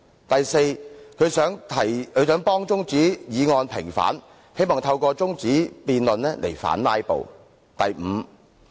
第四，他想替中止待續議案平反，希望透過中止辯論來反"拉布"。